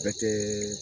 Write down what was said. Bɛ kɛ